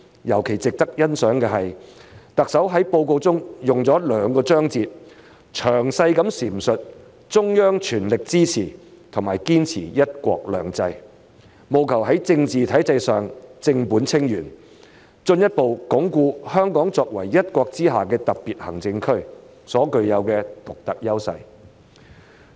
尤其值得欣賞的是，特首在報告中用了兩個章節，詳細闡述中央全力支持和堅持"一國兩制"，務求在政治體制上正本清源，進一步鞏固香港作為一國之下的特別行政區所具有的獨特優勢。